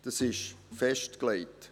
Das ist festgelegt.